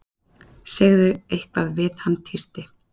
Segðu eitthvað við hann tísti